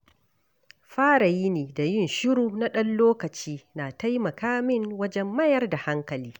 Fara yini da yin shiru na ɗan lokaci na taimaka min wajen mayar da hankali.